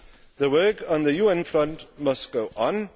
The work on the UN front must go